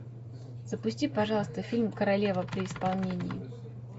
запусти пожалуйста фильм королева при исполнении